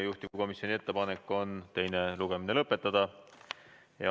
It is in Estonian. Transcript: Juhtivkomisjoni ettepanek on teine lugemine lõpetada.